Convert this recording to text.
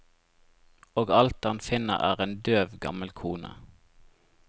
Og alt han finner er en døv, gammel kone.